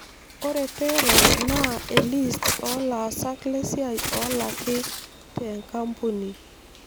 Ore payroll naa elist oolaasak lesiai oolaki te nkambuni.